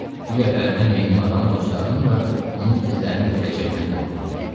Digər tərəfdən meymun adam dostlarının da onun izlərini itirəcəyindən qorxurdu.